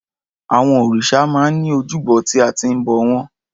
Àwọn òrìṣà máa ń ní ojúbọ tí a ti ń bọ̀ wọ́n.